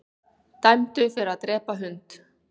Dæmdur fyrir að drepa hund